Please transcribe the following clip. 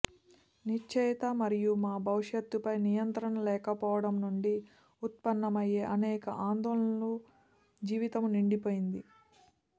నిశ్చయత మరియు మా భవిష్యత్తుపై నియంత్రణ లేకపోవటం నుండి ఉత్పన్నమయ్యే అనేక ఆందోళనల జీవితము నిండిపోయింది